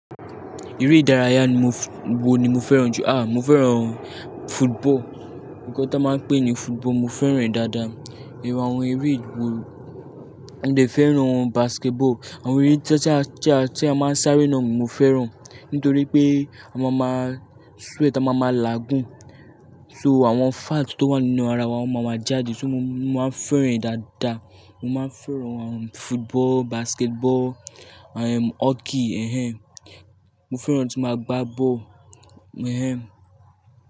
Eré ìdárayá ni mo fé wo ni mo fẹ́ràn jù? A! Mo fẹ́ràn football. Ǹkó tí wọ́n máa ń pè ní football mo fẹ́ràn ẹ̀ dáadáa. Nínú àwọn eré ìdárayá, mo lè fẹ́ràn basketball. Àwọn eré tí a máa ń sáré náà mo fẹ́ràn nítorí pé a máa ma sweat, a máa ma làágùn. So àwọn fat tó wà nínú ara wa máa ma jáde, so mo máa ń fẹ́ràn rẹ̀ dáadáa. Mo máa ń fẹ́ràn àwọn football, basketball, hockey. Ehen. Mo fẹ́ràn ohun tí mo máa gbá bọ́ọ̀lù. Ehen.